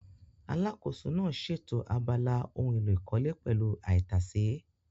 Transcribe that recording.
Alákòóso náà ṣètò abala ohun èlò ìkọ́lé pẹ̀lú àìtàsé